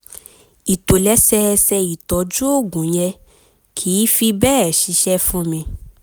ìtòlẹ́sẹẹsẹ ìtọ́jú oògùn yẹn kìí fi bẹ́ẹ̀ ṣiṣẹ́ fún mi